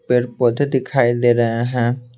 पर पौधे दिखाई दे रहे हैं।